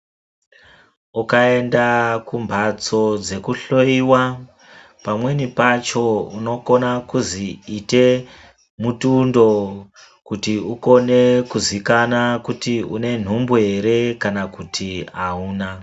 Ukaenda kumbatso dzekuhloiwa pamweni pacho unokona kuzi ite mutundo kuti ukone kuzikanwa kuti une nhumbu ere kana kuti auna.